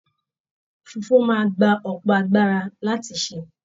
Fufu máa gbà ọpọ agbára láti ṣe.